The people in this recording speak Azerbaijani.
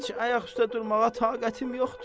Heç ayaq üstə durmağa taqətim yoxdur.